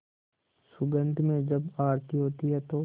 सुगंध में जब आरती होती है तो